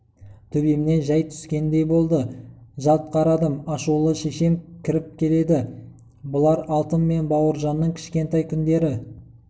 төбемнен жай түскеңдей болды жалт қарадым ашулы шешем кіріп келеді бұлар алтын мен бауыржанның кішкентай күндері